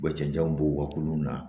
U ka cɛncɛn b'u ka kulon na